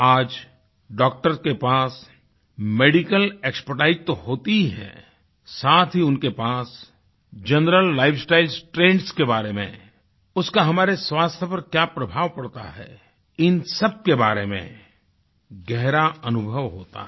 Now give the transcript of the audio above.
आज डॉक्टर के पास मेडिकल एक्सपर्टाइज तो होती ही हैसाथ ही उनके पास जनरल लाइफ स्टाइल ट्रेंड्स के बारे में उसका हमारे स्वास्थ्य पर क्या प्रभाव पड़ता है इन सबके बारे में गहरा अनुभव होता है